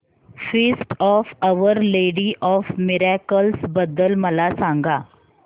feast of Our Lady of Miracles बद्दल मला सांगा